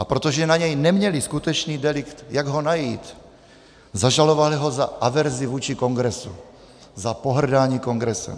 A protože na něj neměli skutečný delikt, jak ho najít, zažalovali ho za averzi vůči Kongresu, za pohrdání Kongresem.